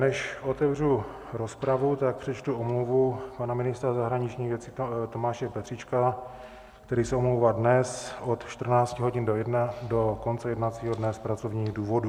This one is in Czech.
Než otevřu rozpravu, tak přečtu omluvu pana ministra zahraničních věcí Tomáše Petříčka, který se omlouvá dnes od 14 hodin do konce jednacího dne z pracovních důvodů.